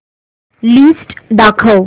list दाखव